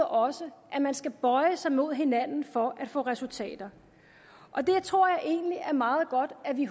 også at man skal bøje sig mod hinanden for at få resultater jeg tror egentlig det er meget godt at vi i